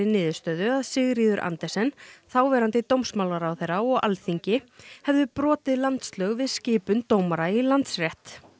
niðurstöðu að Sigríður Andersen þáverandi dómsmálaráðherra og Alþingi hefðu brotið landslög við skipun dómara í Landsrétt